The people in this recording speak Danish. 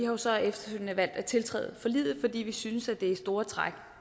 har så efterfølgende valgt at tiltræde forliget fordi vi synes det i store træk